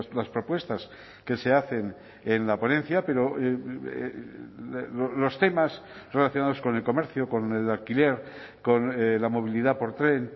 las propuestas que se hacen en la ponencia pero los temas relacionados con el comercio con el alquiler con la movilidad por tren